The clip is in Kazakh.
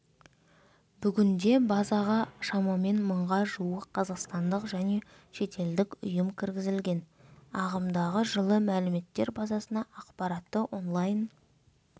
бүгінде базаға шамамен мыңға жуық қазақстандық және шетелдік ұйым кіргізілген ағымдағы жылы мәліметтер базасына ақпаратты онлайн